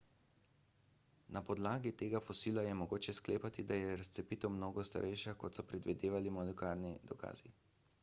na podlagi tega fosila je mogoče sklepati da je razcepitev mnogo starejša kot so predvidevali molekularni dokazi